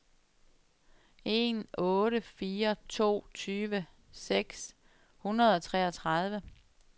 en otte fire to tyve seks hundrede og treogtredive